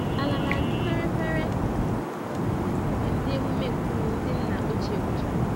Ala na-adị fere-fere mgbe emume nkume ndị emume nkume ndị nna ochie gwụchara.